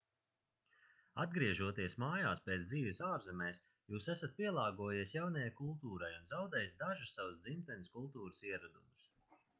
atgriežoties mājās pēc dzīves ārzemēs jūs esat pielāgojies jaunajai kultūrai un zaudējis dažus savas dzimtenes kultūras ieradumus